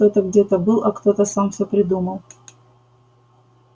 кто-то где-то был кто-то сам все придумал